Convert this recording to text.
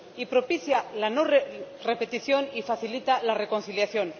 Y propicia la no repetición y facilita la reconciliación.